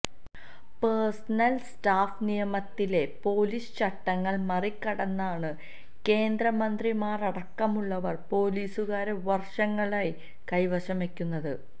personal staff നിയമനത്തിലെ police ചട്ടങ്ങള് മറികടന്നാണു കേന്ദ്രമന്ത്രിമാരടക്കമുള്ളവര് പൊലീസുകാരെ വര്ഷങ്ങളായി കൈവശം വയ്ക്കുന്നത്